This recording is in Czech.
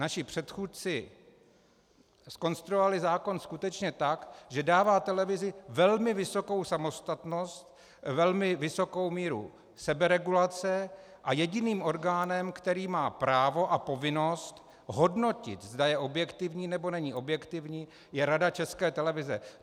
Naši předchůdci zkonstruovali zákon skutečně tak, že dává televizi velmi vysokou samostatnost, velmi vysokou míru seberegulace, a jediným orgánem, který má právo a povinnost hodnotit, zda je objektivní, nebo není objektivní, je Rada České televize.